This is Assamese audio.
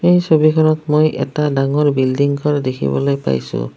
এই ছবিখনত মই এটা ডাঙৰ বিল্ডিং ঘৰ দেখিবলৈ পাইছোঁ।